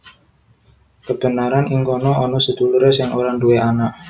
Kebeneran ing kana ana sedulurè sing ora duwé anak